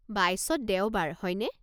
বাইছত দেওবাৰ, হয়নে?